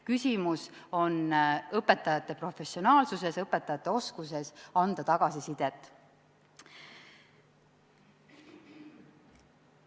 Küsimus on õpetajate professionaalsuses, õpetajate oskuses anda tagasisidet.